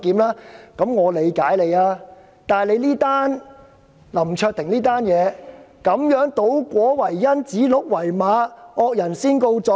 可是，這次的林卓廷事件是倒果為因，指鹿為馬，惡人先告狀。